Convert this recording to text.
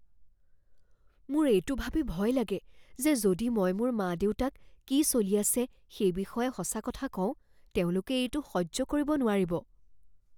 মোৰ এইটো ভাবি ভয় লাগে যে যদি মই মোৰ মা দেউতাক কি চলি আছে সেই বিষয়ে সঁচা কথা কওঁ তেওঁলোকে এইটো সহ্য কৰিব নোৱাৰিব।